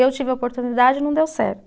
Eu tive a oportunidade e não deu certo.